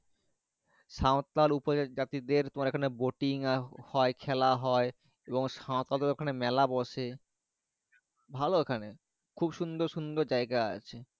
সাঁওতাল উপজাতি দেড় তোমার এখানে boating হয় খালা হয় এবং সাঁওতাল দেড় এখানে মেলা বসে ভালো ওখানে খুব সুন্দর সন্দর যাই গা আছে।